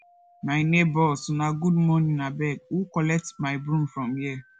my nebors una good morning abeg who collect my broom from here